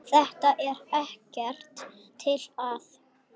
Þetta er ekkert til að.